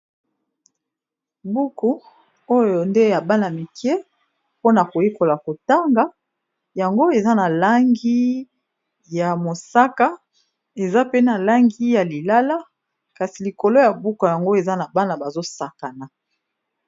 Buku oyo nde ya bana mike mpona koyekola kotanga yango eza na langi ya mosaka, eza pe na langi ya lilala, kasi likolo ya buku yango eza na bana bazo sakana.